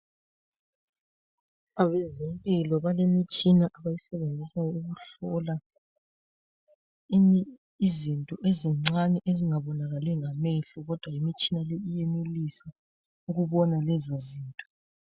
Abezempilo bale mitshina abayisebenzisayo ukuhlola izinto ezincane ezinga bonakali ngamehlo kodwa imitshina iyenelisa ukubona lezo zinto.